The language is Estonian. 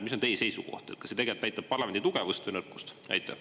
Mis on teie seisukoht: kas see tegelikult näitab parlamendi tugevust või nõrkust?